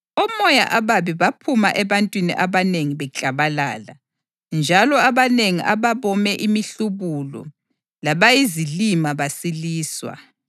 Omoya ababi baphuma ebantwini abanengi beklabalala njalo abanengi ababome imihlubulo labayizilima basiliswa.